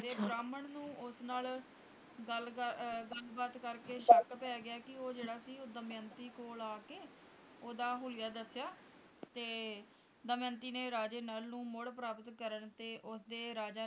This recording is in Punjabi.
ਤੇ ਬ੍ਰਹਮਣ ਨੂੰ ਉਸ ਨਾਲ ਗੱਲ ਕਰ ਗੱਲ ਬਾਤ ਕਰਕੇ ਸ਼ੱਕ ਪੈ ਗਿਆ ਕਿ ਉਹ ਜਿਹੜਾ ਸੀ ਉਹ ਦਮਯੰਤੀ ਕੋਲ ਆ ਕੇ ਓਹਦਾ ਹੁਲੀਆ ਦੱਸਿਆ ਤੇ ਦਮਯੰਤੀ ਨੇ ਰਾਜੇ ਨਾਲ ਨੂੰ ਮੁੜ ਪ੍ਰਾਪਤ ਕਰਨ ਤੇ ਉਸਦੇ ਰਾਜੇ